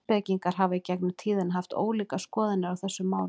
Heimspekingar hafa í gegnum tíðina haft ólíkar skoðanir á þessu máli.